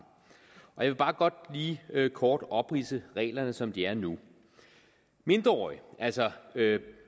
jeg vil bare godt lige kort opridse reglerne som de er nu mindreårige altså